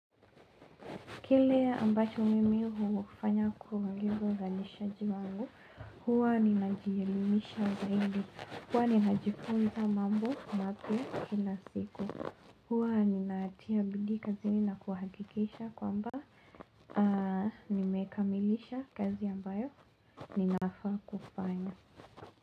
Kile ambacho mimi hufanya kuangoza uzalishaji wangu, huwa ninajielimisha zaidi. Huwa ninajifunza mambo mapya kila siku huwa ninatia bidii kazini na kuhakikisha kwamba nimekamilisha kazi ambayo ninafaa kufanya.